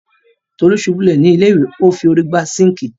Tolú ṣubú lulẹ̀ ni ilé ìwẹ̀,o fi órí gbá sinkii.